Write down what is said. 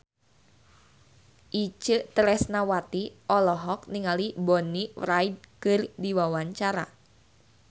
Itje Tresnawati olohok ningali Bonnie Wright keur diwawancara